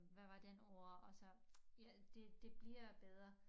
Hvad var den ord og så ja det det bliver bedre